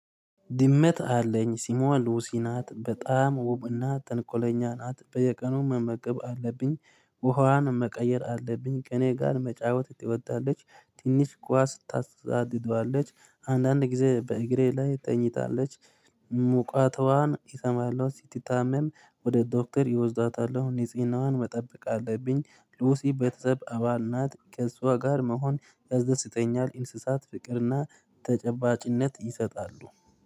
ድመት አለኝ ሲሞን ሉሲ ናት በጣም ውብ እና ተንቆለኛ ናት በየቀኑ መመቅብ አለብኝ። ውሃዋን መቀየር አለብኝ ከኔ ጋር መጫወት ትወዳለች። ትንሽ ኳስ ታጫውታለች አንዳንድ ጊዜ በእግሬ ላይ ተኝታለች። ሙቀቷን እሰማለው ስትታመም ወደ ዶክተር ይወስዳታል። እኔ ንጽህናዋን መጠበቅ አለብኝ። ሉሲ በተጠብ አባል ናት። ከእሷ ጋር መሆን ከዘዘተኛ እንስሳት ፍቅርና ተጨባጭነት ይሰጣሉ።